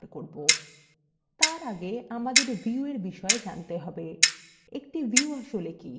তার আগে আমাদের viewএর বিষয় জানতে হবে একটি view আসলে কি